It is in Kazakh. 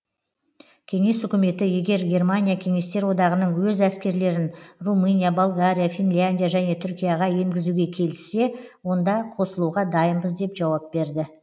кеңес үкіметі егер германия кеңестер одағының өз әскерлерін румыния болгария финляндия және түркияға енгізуге келіссе онда қосылуға дайынбыз деп жауап берді